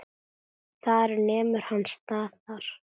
Þar nemur hann staðar.